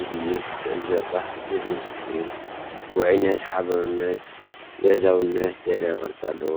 ዝድይብ ክትዕዘቦ ባህ ዘብል እዩ። ውዑይነት፣ ሓባርነትን ገዛውነትን ዘርኢ ቅርጺ ኣለዎ።